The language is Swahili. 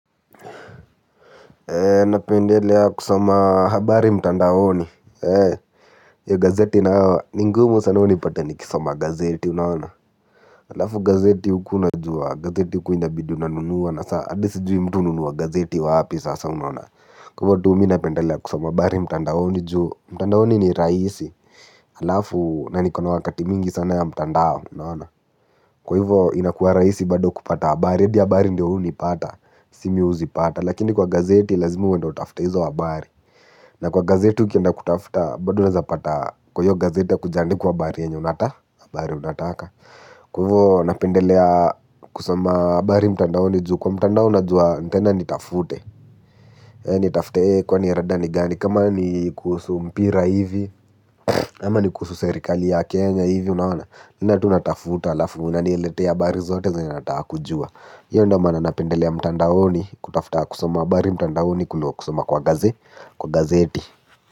Napendelea kusoma habari mtandaoni. Ya gazeti nayo ni ngumu sana unipate nikisoma gazeti unaona. Halafu gazeti uku unajua gazeti uku inabidi unanunua na saa adi sijui mtu ununua gazeti wapi sasa unaona. Kwa ivo tu mi napendelea kusoma habari mtandaoni juu mtandaoni ni raisi. Halafu na niko na wakati mingi sana ya mtandao unaona. Kwa hivyo inakuwa raisi bado kupata habari edi habari ndio unipata. Si mi uzipata, lakini kwa gazeti lazima we ndio utafute hizo habari. Na kwa gazeti ukienda kutafuta bado unaezapata kwa hio gazeti hakujaandikwa abari unataka. Kwa ivo napendelea kusoma abari mtandaoni juu kwa mtandao najua, nitaenda nitafute. Nitafute kwani rada ni gani kama ni kuhusu mpira hivi. Ama ni kuhusu serikali ya Kenya hivi unaona, naenda tu natafuta alafu inaniletea abari zote zenye nataka kujua hio ndio mana napendelea mtandaoni. Kutafta kusoma abari mtandaoni kulo kusoma kwa gazeti.